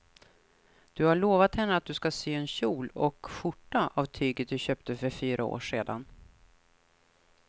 Du har lovat henne att du ska sy en kjol och skjorta av tyget du köpte för fyra år sedan.